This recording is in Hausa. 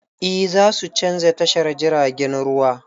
E, za su canza tashar jiragen ruwa.